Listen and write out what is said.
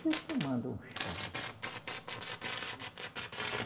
estou tomando um chá.